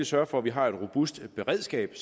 sørge for at vi har et robust beredskab